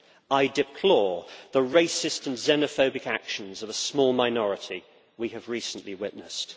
I deplore the racist and xenophobic actions of a small minority that we have recently witnessed.